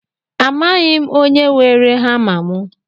Amaghị m onye weere hama mụ